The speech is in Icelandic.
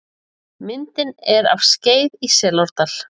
Myndin er af Skeið í Selárdal.